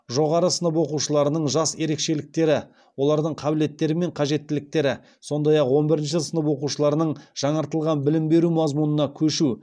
жоғары сынып оқушыларының жас ерекшеліктері олардың қабілеттері мен қажеттіліктері сондай ақ он бірінші сынып оқушыларының жаңартылған білім беру мазмұнына көшуі